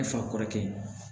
Ne fa kɔrɔkɛ